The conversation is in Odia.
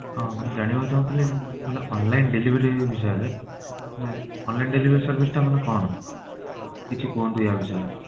ହଁ ମୁଁ ଜାଣିବାକୁ ଚାହୁଁଥିଲି ମାନେ online delivery ବିଷୟରେ ମାନେ online delivery service ଟା ମାନେ କଣ? କିଛି କୁହନ୍ତୁ ୟା ବିଷୟ